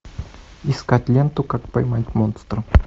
искать ленту как поймать монстра